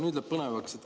Nüüd läheb põnevaks.